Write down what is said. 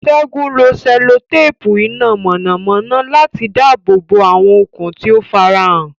Ṣẹ́gun lo sẹ́lótéèpù iná mọ̀nàmọ́ná láti dáàbò bo àwọn okùn tí ó farahàn.